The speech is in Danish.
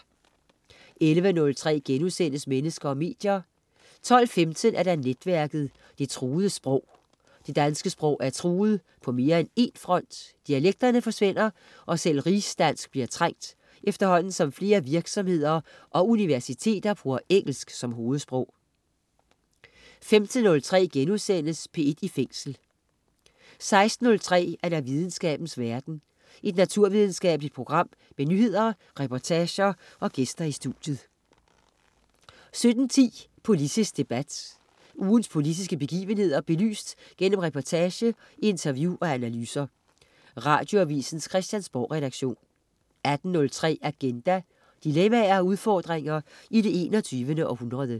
11.03 Mennesker og medier* 12.15 Netværket. Det truede sprog. Det danske sprog er truet, på mere end en front. Dialekterne forsvinder, og selv rigsdansk bliver trængt, efterhånden som flere virksomheder og universiteter bruger engelsk som hovedsprog 15.03 P1 i Fængsel* 16.03 Videnskabens verden. Et naturvidenskabeligt program med nyheder, reportager og gæster i studiet 17.10 Politisk debat. Ugens politiske begivenheder belyst gennem reportage, interview og analyser. Radioavisens Christiansborgredaktion 18.03 Agenda. Dilemmaer og udfordringer i det 21. århundrede